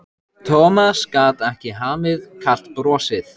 Thomas gat ekki hamið kalt brosið.